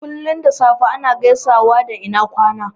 Kullum da safe ana gaisawa da "ina kwana"